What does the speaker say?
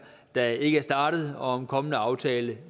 der ikke er startet og om en kommende aftale